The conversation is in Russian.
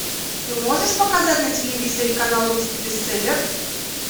ты можешь показать на телевизоре канал русский бестселлер